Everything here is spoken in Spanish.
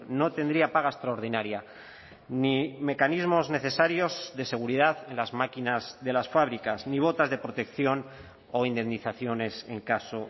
no tendría paga extraordinaria ni mecanismos necesarios de seguridad en las máquinas de las fábricas ni botas de protección o indemnizaciones en caso